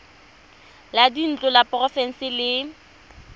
la dintlo la porofense le